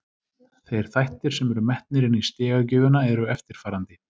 Þeir þættir sem eru metnir inni í stigagjöfina eru eftirfarandi: